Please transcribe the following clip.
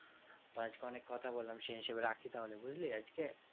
তো আজকে অনেক কথা বললাম সে হিসেবে রাখি তাহলে বুঝলি আজকে